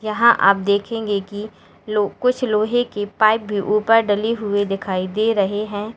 यहां आप देखेंगे कि लो कुछ लोहे की पाईप भी ऊपर डली हुई दिखाई दे रहे हैं।